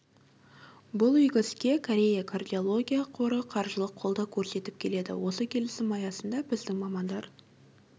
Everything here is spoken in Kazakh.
бұл игі іске корея кардиология қоры қаржылық қолдау көрсетіп келеді осы келісім аясында біздің мамандар